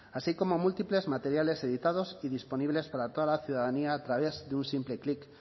así como múltiples materiales editados y disponibles para toda la ciudadanía a través de un simple clic